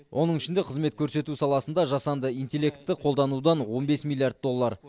оның ішінде қызмет көрсету саласында жасанды интеллектті қолданудан он бес миллиард доллар